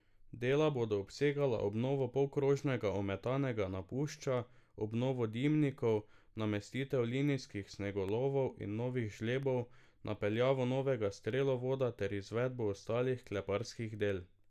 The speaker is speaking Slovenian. Dela bodo obsegala obnovo polkrožnega ometanega napušča, obnovo dimnikov, namestitev linijskih snegolovov in novih žlebov, napeljavo novega strelovoda ter izvedbo ostalih kleparskih del.